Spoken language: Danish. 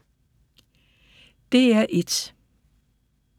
DR1